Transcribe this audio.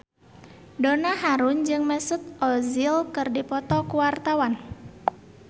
Donna Harun jeung Mesut Ozil keur dipoto ku wartawan